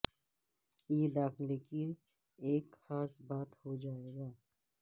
یہ داخلہ کی ایک خاص بات ہو جائے گا